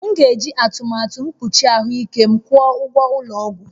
M ga-eji atụmatụ mkpuchi ahụike m kwụọ ụgwọ ụgwọ ụlọ ọgwụ